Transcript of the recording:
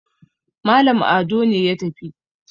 Malam Ado ne ya tafi